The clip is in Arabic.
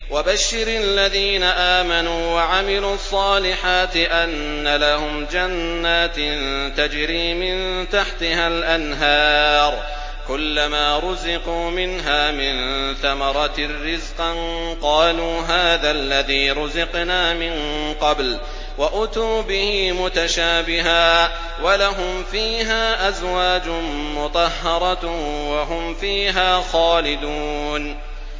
وَبَشِّرِ الَّذِينَ آمَنُوا وَعَمِلُوا الصَّالِحَاتِ أَنَّ لَهُمْ جَنَّاتٍ تَجْرِي مِن تَحْتِهَا الْأَنْهَارُ ۖ كُلَّمَا رُزِقُوا مِنْهَا مِن ثَمَرَةٍ رِّزْقًا ۙ قَالُوا هَٰذَا الَّذِي رُزِقْنَا مِن قَبْلُ ۖ وَأُتُوا بِهِ مُتَشَابِهًا ۖ وَلَهُمْ فِيهَا أَزْوَاجٌ مُّطَهَّرَةٌ ۖ وَهُمْ فِيهَا خَالِدُونَ